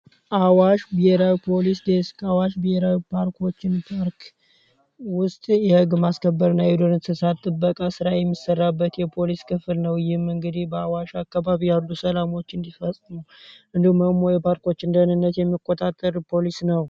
አዋሽራፖሊስ ዴስክ አዋሽ ቢየራዊ ፓርኮችን ርክ ውስጥ የህግ ማስከበር እና ሄዱንንሰሳት ትበቃ ሥራይ የሚሰራበት የፖሊስ ክፍል ነው ይህም እንግዲህ በአዋሽ አካባቢ ያህዱ ሰላሞች እንዲፈጽኑም እንዱ መሞ የፓርኮች እንደህንነት የሚቆታጠር ፖሊስ ነው